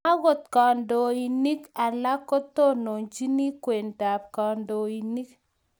agot kandoinik alak kotononchini kweeetab kandoinik